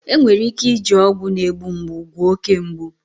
Enwere ike iji ọgwụ na-egbu mgbu gwọọ oke mgbu.